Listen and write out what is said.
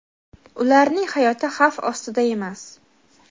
ularning hayoti xavf ostida emas.